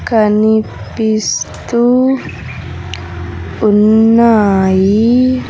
కనిపిస్తూ ఉన్నాయి.